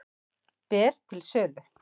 Ber til sölu